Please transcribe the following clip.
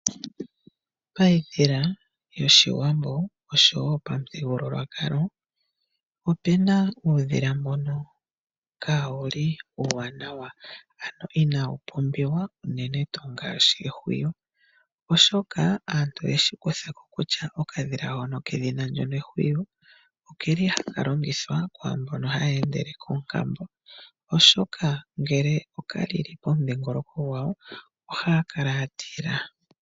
Paidhila yoshiwambo oshowo pamuthigululwakalo opuna uudhila mbono kaa wuli uuwaanawa, ano inaa wu pumbiwa unene tuu ngaashi Ehwiyu. Oshoka aantu oyeshi kutha ko kutya okadhila hono kedhina ndono Ehwiyu, oke li haka longithwa kwaambono haya endele koonkambo, oshoka ngele oka lili pomudhingoloko gwawo ohaya kala ya tila.